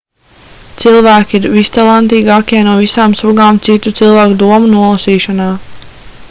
cilvēki ir vistalantīgākie no visām sugām citu cilvēku domu nolasīšanā